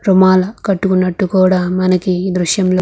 రోమాలు కూడా కట్టుకున్నట్టు మనకు ఈ దృశ్యం లో --